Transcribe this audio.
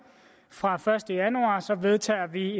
fra den første januar vedtager vi